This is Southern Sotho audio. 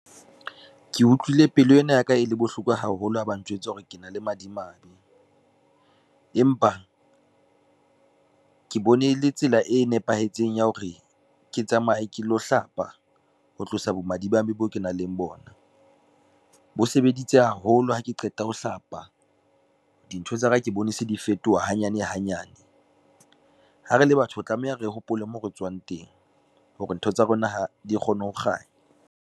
Ke utlwile pelo ena ya ka e le bohloko haholo ha ba njwetse hore ke na le madimabe, empa ke bone e le tsela e nepahetseng ya hore ke tsamaye ke lo hlapa ho tlosa bo madimabe boo ke nang le bona. Bo sebeditse haholo ha ke qeta ho hlapa, dintho tsa ka ke bone se di fetoha hanyane hanyane. Ha re le batho ho tlameha, re hopole moo re tswang teng hore ntho tsa rona di kgone ho kganya.